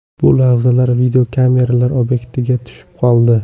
Bu lahzalar videokameralar obyektiviga tushib qoldi.